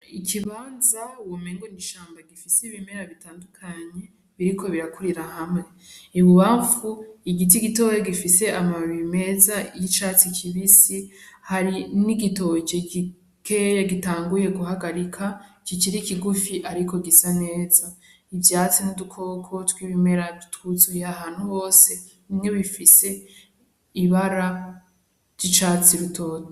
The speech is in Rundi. Ikibanza womengo n'ishamba gifis'ibimera bitandukanye biriko birakurira hamwe, ibubamfu igiti gitoyi gifise amababi meza y'icatsi kibisi harimw' igitoki gikeya gitanguye guhagarika kikiri kigufi ariko gisa neza , ivyatsi n'udukoko twibimera twuzuye ahantu hose, bimwe bifise ibara ry'icatsi gitoto.